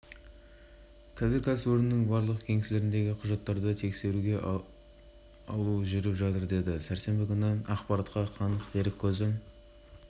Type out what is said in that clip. жүргізу арқылы қайғылы оқиғаларды болдырмауға және адам өмірін құтқарып алып қалуға болады балалардың қатысы бар